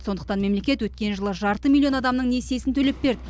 сондықтан мемлекет өткен жылы жарты миллион адамның несиесін төлеп берді